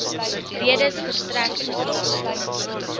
redes verstrek tesame